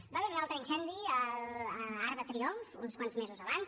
hi va haver un altre incendi a arc de triomf uns quants mesos abans